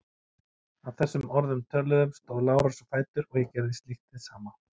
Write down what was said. Að þessum orðum töluðum stóð Lárus á fætur og ég gerði slíkt hið sama.